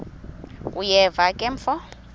uyeva ke mfo